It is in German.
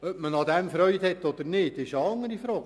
Ob man daran Freude hat oder nicht, ist eine andere Frage.